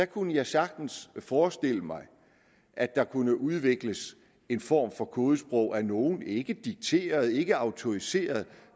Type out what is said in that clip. kunne jeg sagtens forestille mig at der kunne udvikles en form for kodesprog hos nogle ikke dikteret ikke autoriseret